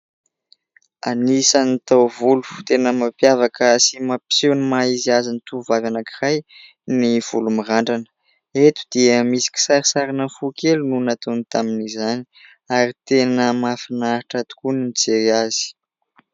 Anisan'ny taovolo tena mampiavaka sy mampiseho ny maha-izy azy ny tovovavy anankiray ny volo mirandrana. Eto dia misy kisarisarina fo kely no nataony tamin'izany ary tena mahafinaritra tokoa ny mijery azy.